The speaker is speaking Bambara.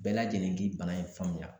Bɛɛ lajɛlen k'i bana in faamuya